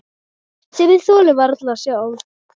Sem ég þoli varla sjálf.